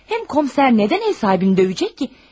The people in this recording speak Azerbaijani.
Həm komissar nədən ev sahibini döyəcək ki?